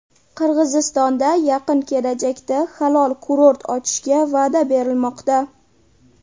Qirg‘izistonda yaqin kelajakda halol kurort ochishga va’da berilmoqda.